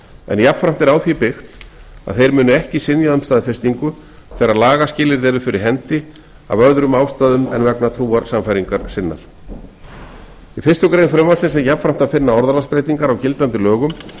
en jafnframt er á því byggt að þeir muni ekki synja um staðfestingu þegar lagaskilyrði eru fyrir hendi af öðrum ástæðum en vegna trúarsannfæringar sinnar í fyrstu grein frumvarpsins er jafnframt að finna orðalagsbreytingar á gildandi lögum